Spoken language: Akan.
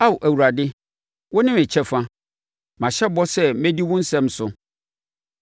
Ao Awurade, wone me kyɛfa; mahyɛ bɔ sɛ mɛdi wo nsɛm so.